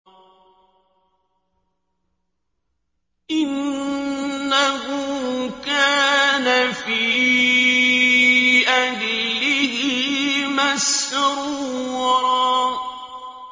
إِنَّهُ كَانَ فِي أَهْلِهِ مَسْرُورًا